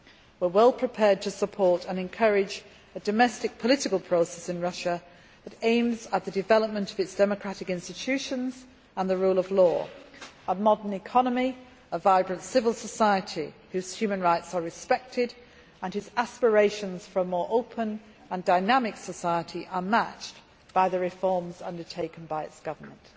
We are well prepared to support and encourage a domestic political process in Russia that aims to develop its democratic institutions and the rule of law, as well as a modern economy and a vibrant civil society, whose human rights are respected and whose aspirations for a more open and dynamic society are matched by the reforms undertaken by its government.